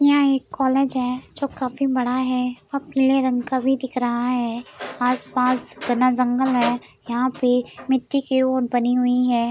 यह एक कॉलेज है। जो काफी बड़ा है और पीले रंग का भी दिख रहा है आस पास घना जंगल है यहां पे मिट्टी की बनी हुई है ।